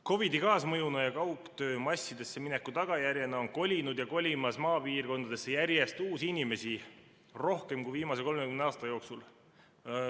COVID‑i kaasmõjuna ja kaugtöö massidesse mineku tagajärjena on kolinud ja kolimas maapiirkondadesse järjest uusi inimesi, rohkem kui viimase 30 aasta jooksul.